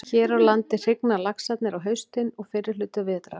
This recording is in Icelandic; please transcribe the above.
Hér á landi hrygna laxarnir á haustin og fyrri hluta vetrar.